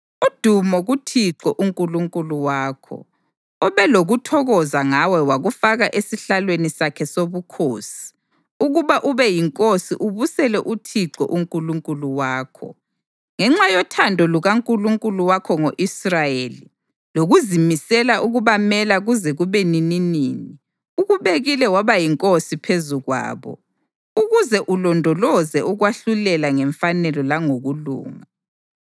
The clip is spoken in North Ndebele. Udumo kuThixo uNkulunkulu wakho, obe lokuthokoza ngawe wakufaka esihlalweni sakhe sobukhosi ukuba ube yinkosi ubusele uThixo uNkulunkulu wakho. Ngenxa yothando lukaNkulunkulu wakho ngo-Israyeli, lokuzimisela ukubamela kuze kube nininini, ukubekile waba yinkosi phezu kwabo, ukuze ulondoloze ukwahlulela ngemfanelo langokulunga.”